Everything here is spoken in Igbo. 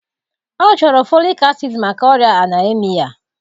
Ọ chọrọ folik acid maka oria anaemia